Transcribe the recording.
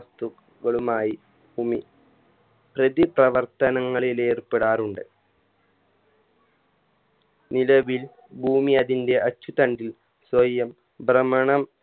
വസ്തു ക്കളുമായി ഭൂമി പ്രതിപ്രവർത്തനങ്ങളിൽ ഏർപ്പെടാറുണ്ട് നിലവിൽ ഭൂമി അതിൻറെ അച്ചുതണ്ടിൽ സ്വയം ഭ്രമണം